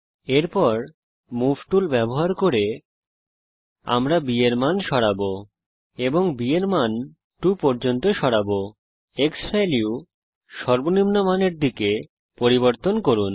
এরপর move tool ব্যবহার করে আমরা b এর মান সরাবো এবং b এর মান 2 পর্যন্ত সরাবো ক্সভ্যালিউ সর্বনিম্ন মানের দিকে পরিবর্তন করুন